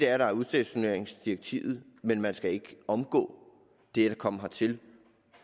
har udstationeringsdirektivet men man skal ikke omgå det og komme hertil